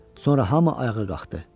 Sonra hamı ayağa qalxdı.